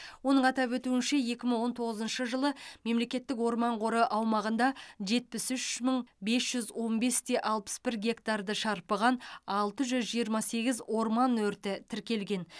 оның атап өтуінше екі мың он тоғызыншы жылы мемлекеттік орман қоры аумағында жетпіс үш мың бес жүз он бес те алпыс бір гектарды шарпыған алты жүз жиырма сегіз орман өрті тіркелген